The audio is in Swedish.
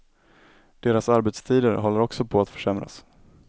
Deras arbetstider håller också på att försämras.